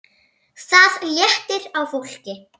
Það léttir á fólki.